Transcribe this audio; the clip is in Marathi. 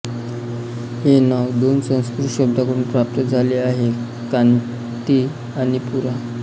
हे नाव दोन संस्कृत शब्दांकडून प्राप्त झाले आहे कांती आणि पुरा